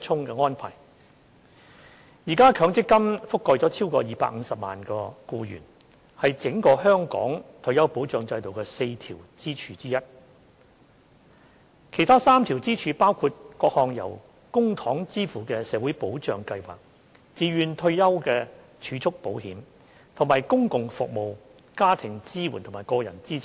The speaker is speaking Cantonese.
現時，強積金覆蓋超過250萬名僱員，是整個香港退休保障制度的4根支柱之一。其他3根支柱，包括各項由公帑支付的社會保障計劃、自願退休儲蓄保險，以及公共服務、家庭支援和個人資產。